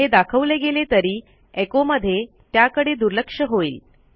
हे दाखवले गेले तरी एचो मध्ये त्याकडे दुर्लक्ष होईल